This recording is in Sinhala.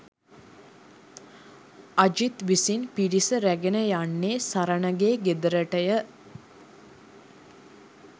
අජිත් විසින් පිරිස රැගෙන යන්නේ සරණගේ ගෙදරටය